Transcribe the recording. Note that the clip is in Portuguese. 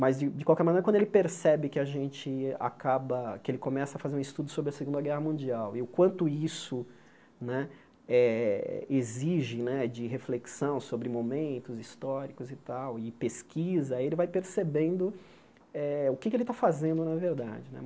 Mas, de de qualquer maneira, quando ele percebe que a gente acaba que ele começa a fazer um estudo sobre a Segunda Guerra Mundial e o quanto isso né eh exige né de reflexão sobre momentos históricos e tal e pesquisa, ele vai percebendo eh o que é que ele está fazendo, na verdade né.